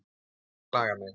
Ætlarðu að klaga mig?